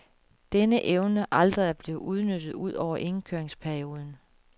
Denne evne aldrig er blevet udnyttet ud over indkøringsperioden.